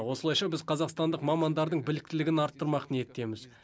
осылайша біз қазақстандық мамандардың біліктілігін арттырмақ ниеттеміз